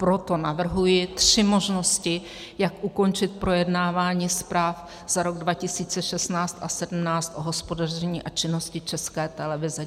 Proto navrhuji tři možnosti, jak ukončit projednávání zpráv za rok 2016 a 2017 o hospodaření a činnosti České televize.